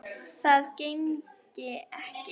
Það gengi ekki